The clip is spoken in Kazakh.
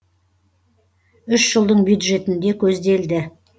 үш жылдың бюджетінде көзделді